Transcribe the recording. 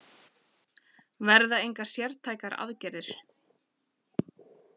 Verða engar sértækar aðgerðir